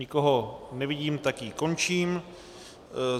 Nikoho nevidím, tak ji končím.